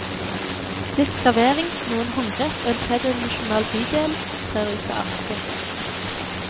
Litt skravering, noen håndgrep og en tredimensjonal bydel trer ut av arket.